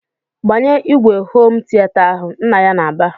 "Gbanye ìgwè homu tiata ahụ!" Nna ya na-aba.